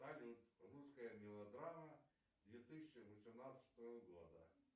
салют русская мелодрама две тысячи восемнадцатого года